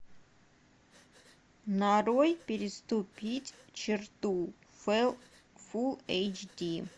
нарой переступить черту фул эйч ди